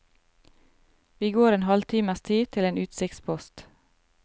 Vi går en halvtimes tid til en utsiktspost.